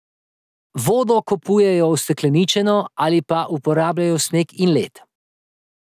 Vodo kupujejo ustekleničeno ali pa uporabljajo sneg in led.